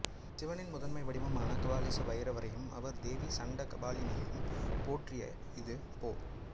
சிவனின் முதன்மை வடிவமாக கபாலீச பைரவரையும் அவர் தேவி சண்டகபாலினியையும் போற்றிய இது பொ